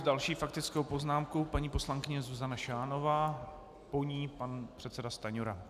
S další faktickou poznámkou paní poslankyně Zuzana Šánová, po ní pan předseda Stanjura.